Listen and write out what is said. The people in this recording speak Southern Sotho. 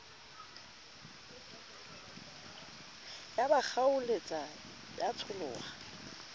ya ba kgaoletsa ya tsholoha